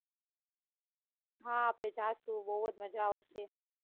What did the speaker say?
હા આપડે જાસુ બૌ જ માજા આવશે.